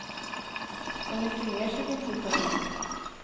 Så mycket mer ser det inte ut att bli.